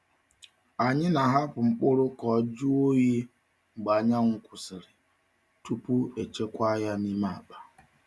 Anyị na-ahapụ mkpụrụ ka o jụọ oyi mgbe anyanwụ kwụsịrị tupu echekwaa ya n’ime akpa.